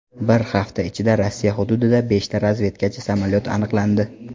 Bir hafta ichida Rossiya hududida beshta razvedkachi samolyot aniqlandi.